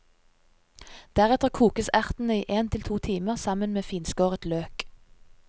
Deretter kokes ertene i en til to timer sammen med finskåret løk.